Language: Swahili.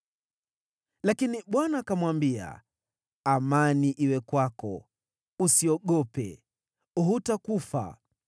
Lakini Bwana akamwambia, “Amani iwe kwako! Usiogope. Hutakufa.”